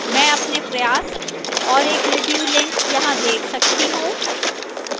मैं अपने प्रयास और एक review link यहाँ देख सकती हूँ